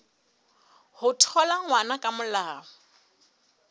ho thola ngwana ka molao